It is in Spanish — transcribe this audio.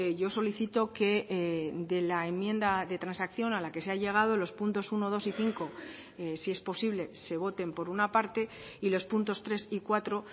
yo solicito que de la enmienda de transacción a la que se ha llegado los puntos uno dos y cinco si es posible se voten por una parte y los puntos tres y cuatro